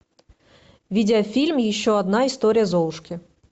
видеофильм еще одна история золушки